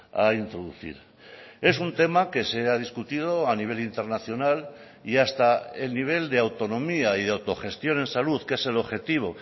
a introducir es un tema que se ha discutido a nivel internacional y hasta el nivel de autonomía y de autogestión en salud que es el objetivo